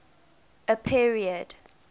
a period